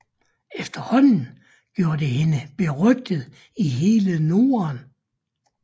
Efterhånden gjorde det hende berygtet i hele Norden